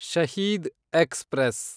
Shaheed express